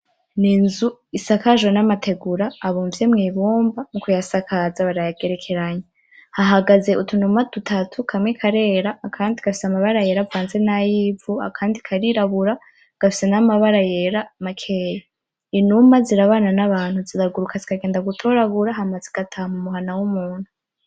N'inzu isakajwe n'amategura abumbwe mwibumba, mu kuyasakaza barayagerekeranya ,hahagaze utunuma dutatu kamwe karera akandi gafise amabara yera avanze n'ayivu akandi karirabura gafise namabara yera makeyi, Inuma zirabana n'abantu ziraguruka zikagenda gutoragura hama zigataha mumuhana h'umuntu.